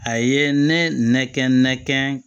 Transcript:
A ye ne nɛgɛn ne kɛ